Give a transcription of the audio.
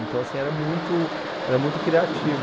Então, assim, era muito era muito criativo.